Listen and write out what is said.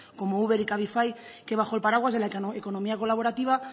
como uber y cabify que bajo el paraguas de la economía colaborativa